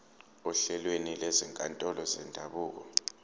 ohlelweni lwezinkantolo zendabuko